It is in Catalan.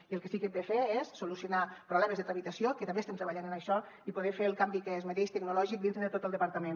i el que sí que hem de fer és solucionar problemes de tramitació que també estem treballant en això i poder fer el canvi que es mereix tecnològic dintre de tot el departament